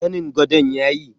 Zanin gadon yayi?